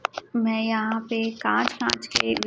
मैं यहां पे कांच कांच के--